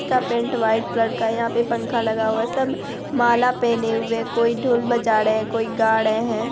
इसका paint white colour का है| यहाँ पे पंखा लगा हुआ है सब माला पहने हुए हैं कोई ढोल बजा रहे हैं कोई गा रहे हैं।